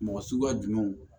Mɔgɔ suguya jumɛnw